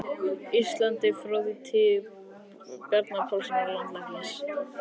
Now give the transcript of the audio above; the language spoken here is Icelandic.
Íslandi, frá því í tíð Bjarna Pálssonar landlæknis.